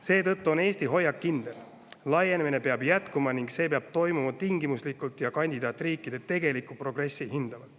Seetõttu on Eesti hoiak kindel: laienemine peab jätkuma ning see peab toimuma tingimuslikult ja kandidaatriikide tegelikku progressi hinnates.